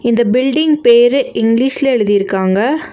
இந்த பில்டிங் பேரு இங்கிலீஷ்ல எழுதிருக்காங்க.